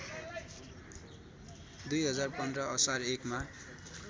२०१५ असार १ मा